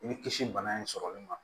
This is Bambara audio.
I bi kisi bana in sɔrɔli ma